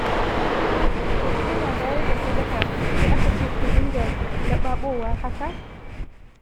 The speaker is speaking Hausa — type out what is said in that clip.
To in ana bayar da sadaka, sai aka ce ku dinga laɓaɓowa haka?